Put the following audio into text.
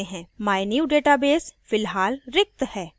mynewdatabase फिलहाल रिक्त है